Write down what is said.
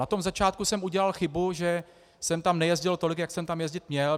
Na tom začátku jsem udělal chybu, že jsem tam nejezdil tolik, jak jsem tam jezdit měl.